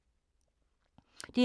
DR2